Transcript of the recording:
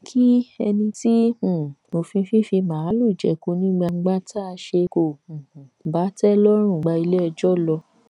kí ẹni tí um òfin fífì màálùú jẹko ní gbangba tá a ṣe kò um bá tẹ lọrùn gba iléẹjọ lọ